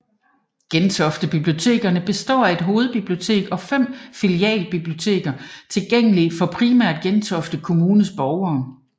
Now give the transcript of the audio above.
Gentofte Bibliotekerne består af et Hovedbibliotek og fem filialbiblioteker tilgængelige for primært Gentofte Kommunes borgere